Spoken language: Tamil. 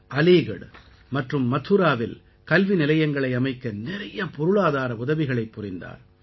அலீகட் மற்றும் மதுராவில் கல்வி நிலையங்களை அமைக்க நிறைய பொருளாதார உதவிகளைப் புரிந்தார்